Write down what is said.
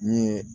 N ye